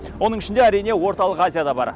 оның ішінде әрине орталық азия да бар